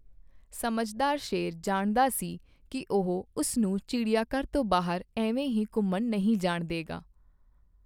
ਸਮਝਦਾਰ ਸ਼ੇਰ ਜਾਣਦਾ ਸੀ ਕੀ ਉਹ ਉਸ ਨੂੰ ਚਿੜੀਆਘਰ ਤੋਂ ਬਾਹਰ ਐਵੇਂ ਹੀ ਘੁੰਮਣ ਨਹੀਂ ਜਾਣ ਦਏਗਾ।